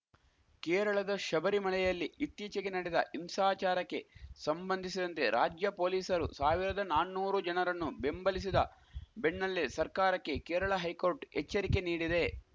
ಕೇರಳದ ಶಬರಿಮಳೆಯಲ್ಲಿ ಇತ್ತೀಚೆಗೆ ನಡೆದ ಹಿಂಸಾಚಾರಕ್ಕೆ ಸಂಬಂಧಿಸಿದಂತೆ ರಾಜ್ಯ ಪೊಲೀಸರು ಸಾವಿರದ ನಾನ್ನೂರು ಜನರನ್ನು ಬೆಂಬಲಿಸಿದ ಬೆಣ್ಣಲ್ಲೇ ಸರ್ಕಾರಕ್ಕೆ ಕೇರಳ ಹೈಕೋರ್ಟ್‌ ಎಚ್ಚರಿಕೆ ನೀಡಿದೆ